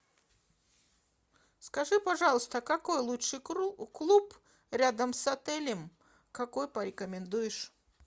скажи пожалуйста какой лучше клуб рядом с отелем какой порекомендуешь